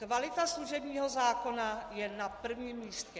Kvalita služebního zákona je na prvním místě.